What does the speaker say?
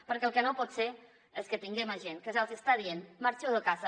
perquè el que no pot ser és que tinguem a gent que se’ls està dient marxeu de casa